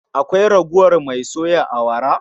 Akwai ragowar mai a soya awara?